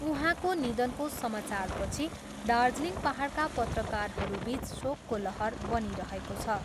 उहाँको निधनको सामाचारपछि दार्जिलिङ पाहाडका पत्रकारहरूबिच शोकको लहर बनिरहेको छ।